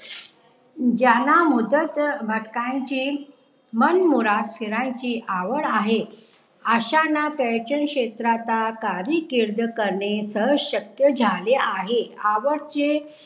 ज्यांना मुदत भटक्यांचे मनमुराद फिरायचे आवड आहे अश्याना पर्यटन क्षेत्राचा कार्यकिर्द करणे सहज शक्य झाले आहे आवश्य